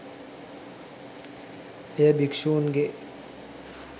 එය භික්ෂූන්ගේ